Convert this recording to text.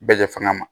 Bɛɛ jɛ fanga ma